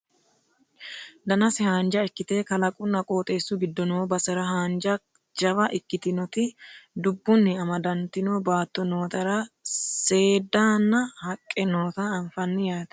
danase haanja ikkite kalaqunna qooxessu giddo noo basera hojjansa jawa ikkitinoti dubbunni amadantino baatto nootera seeddaanna haqqe noota anfanni yaate